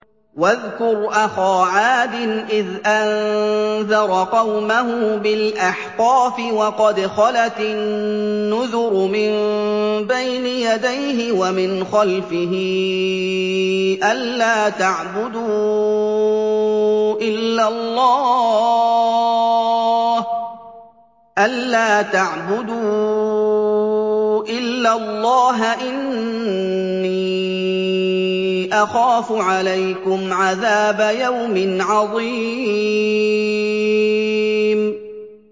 ۞ وَاذْكُرْ أَخَا عَادٍ إِذْ أَنذَرَ قَوْمَهُ بِالْأَحْقَافِ وَقَدْ خَلَتِ النُّذُرُ مِن بَيْنِ يَدَيْهِ وَمِنْ خَلْفِهِ أَلَّا تَعْبُدُوا إِلَّا اللَّهَ إِنِّي أَخَافُ عَلَيْكُمْ عَذَابَ يَوْمٍ عَظِيمٍ